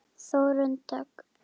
Þórunn Dögg.